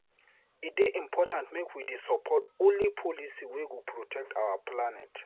E dey important make we dey support only policy wey go protect our planet.